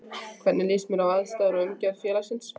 Hvernig líst þér á aðstæður og umgjörð félagsins?